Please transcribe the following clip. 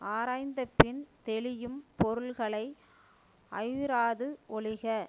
ஆராய்ந்த பின் தெளியும் பொருள்களை ஐயுறாது ஒழிக